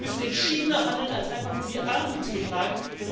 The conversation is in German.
Wir müssen entschiedener handeln als einfach nur die Armut zu beklagen.